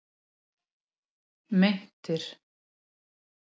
Meintir